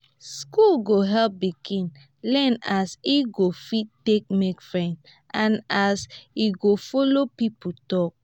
school go help pikin learn as e go fit take make friends and as em go follow people talk